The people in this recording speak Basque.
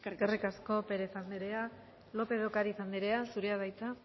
eskerrik asko pérez andrea lópez de ocariz andrea zurea da hitza